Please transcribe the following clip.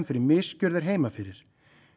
fyrir misgjörðir heima fyrir